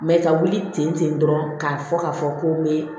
ka wuli ten ten dɔrɔn k'a fɔ k'a fɔ ko n bɛ